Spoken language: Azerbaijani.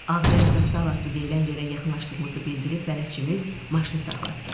Ağbənd zastavası deyilən yerə yaxınlaşdığımızı bildirib bələdçimiz maşını saxlatdı.